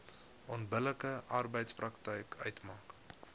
onbillike arbeidspraktyk uitmaak